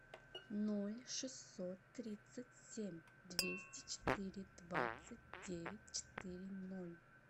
ноль шестьсот тридцать семь двести четыре двадцать девять четыре ноль